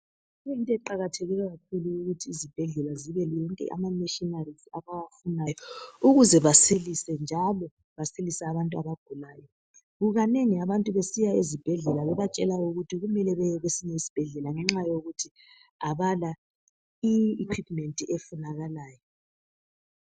Kuyinto eqakathekileyo kakhulu ukuthi izibhedlela zibe lawo wonke ama machineries abawafunayo ukuze basilise njalo basilise abantu abagulayo. Kukanengi abantu besiya ezibhedlela bebatshela ukuthi kumele beye kwesinye isibhedlela ngenxa yokuthi abala eyinye i equipment efunakalayo.